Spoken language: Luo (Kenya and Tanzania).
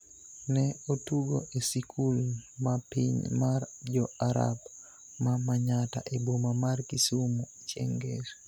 ne otugo e sikul ma piny mar Jo-Arab ma Manyatta e boma mar Kisumu chieng' ngeso.